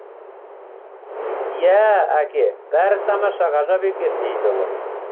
иә әке бәрі тамаша ғажап екен дейді ұлы